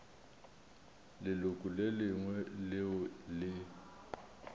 leloko le lengwe leo le